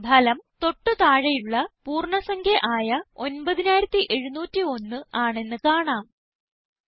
ഇപ്പോൾ ഫലം തൊട്ട് താഴെയുള്ള പൂർണ്ണ സംഖ്യ ആയ 9701 ആണെന്ന് കാണാം